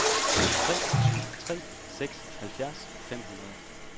tre syv tre seks halvfjerds fem hundrede